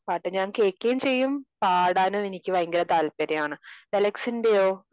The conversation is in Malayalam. പാട്ട് ഞാൻ കേൾക്കേം ചെയ്യും പാടാനും എനിക്ക് ഭയങ്കര താല്പര്യമാണ് രലേഷിന്റെയോ